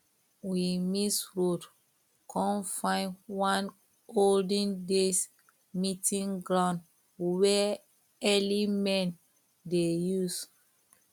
we miss road come find one olden days meeting ground wey early men dey use